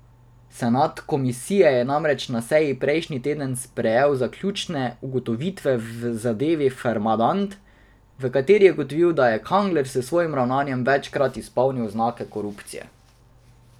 Senat komisije je namreč na seji prejšnji teden sprejel zaključne ugotovitve v zadevi Farmadent, v kateri je ugotovil, da je Kangler s svojim ravnanjem večkrat izpolnil znake korupcije.